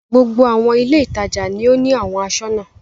Gbogbo àwọn ilé-ìtajà ni ó ní àwọn aṣọ́nà.